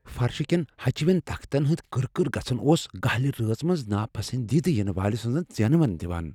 فرشہِ كین ہچِوین تختن ہٖند كٕر كٕر گژھٖٗن اوس گہِلہِ رٲژ منز ناپسندیدٕ یِنہٕ وٲلہِ سنز ژینوٕنہِ دِوان ۔